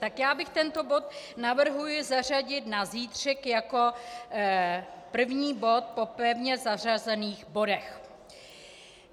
Tak já bych tento bod navrhla zařadit na zítřek jako první bod po pevně zařazených bodech.